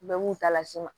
Bɛɛ b'u ta las'i ma